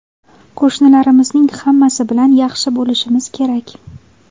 Qo‘shnilarimizning hammasi bilan yaxshi bo‘lishimiz kerak.